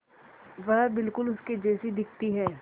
वह बिल्कुल उसके जैसी दिखती है